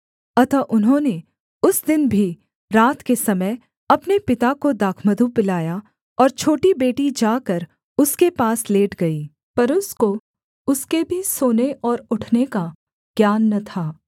अतः उन्होंने उस दिन भी रात के समय अपने पिता को दाखमधु पिलाया और छोटी बेटी जाकर उसके पास लेट गई पर उसको उसके भी सोने और उठने का ज्ञान न था